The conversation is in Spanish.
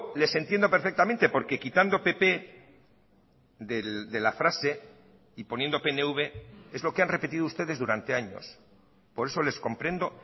les entiendo perfectamente porque quitando pp de la frase y poniendo pnv es lo que han repetido ustedes durante años por eso les comprendo